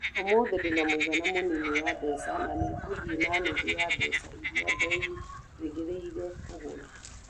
Ũmũthĩ ndĩ na mũigana mũnini wa mbeca, na nĩ ngũthiĩ na nuthu ya mbeca iria ndeerĩgĩrĩire kũgũra.